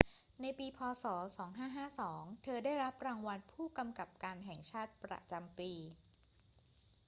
ในปี พ. ศ. 2552 เธอได้รับรางวัลผู้กำกับการแห่งชาติประจำปี